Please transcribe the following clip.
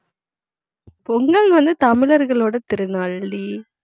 பொங்கல் வந்து தமிழர்களோட திருநாள்டி